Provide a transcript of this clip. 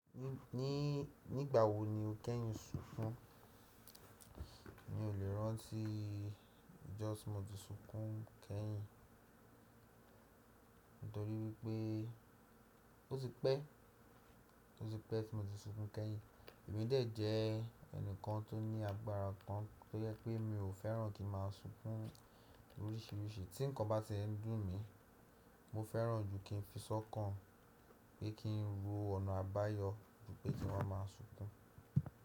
Nígbà wo ni o kẹ́yin sunkún? N le rántí just mo ti sunkún kẹ́yin nítorí wípé ó ti pẹ́ tí mo ti sunkún kẹ́yin. Èmi dé jẹ́ ẹnìkan tó ní agbára kan tó jẹ pé mi ò fẹ́ràn kí n má sunkún oríṣiríṣi tí nǹkan bá ti ń dùn mí, mo fẹ́ràn jù kí n fi sọ́kàn pé kí n ro ọ̀nà àbáyọ júpẹ́ kí n wa ma sunkún.